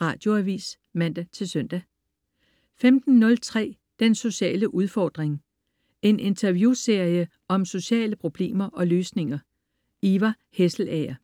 Radioavis (man-søn) 15.03 Den sociale udfordring. En interviewserie om sociale problemer og løsninger. Ivar Hesselager